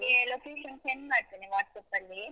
ನಾನು ನಿಮ್ಗೆ location send ಮಾಡ್ತೇನೆ WhatsApp ಅಲ್ಲಿ.